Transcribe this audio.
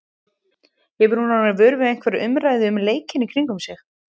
Hefur hún orðið vör við einhverja umræðu um leikinn í kringum sig?